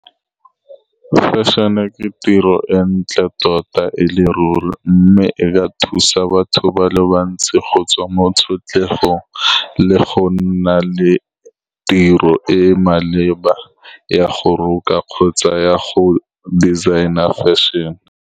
Fashion-e ke tiro e ntle tota, e le ruri, mme e a thusa batho ba le bantsi go tswa mo tshotlhegong le go nna le tiro e e maleba ya go roka kgotsa ya go designer fashion-e.